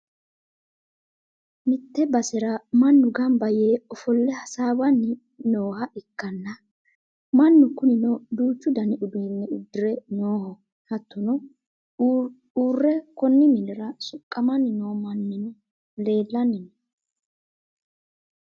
mitte basera mannu gamba yee ofo'le hasaawanni nooha ikkanna, mannu kunino duuchu dani uduunne uddire nooho. hattono uurre konni mannira soqqamanni noo mannino leelanni no.